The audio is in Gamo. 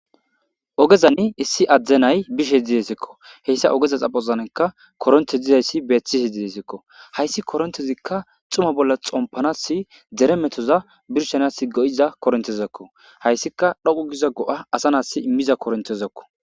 ogezani issi adde nay bishshe deesikko heyssa ogeza xaphphozanikka koronte dizayssi betiishshe dessikko hayssi korontezikka xumma bolla xompanasi dere metoza birshanas go'iza korontezakko hayssikka dhoqqu giza go'a asa nasi imiiza korontezakko